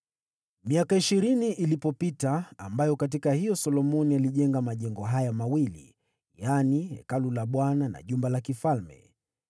Miaka ishirini ilipopita, ambayo katika hiyo Solomoni alijenga majengo haya mawili, yaani Hekalu la Bwana na jumba la kifalme,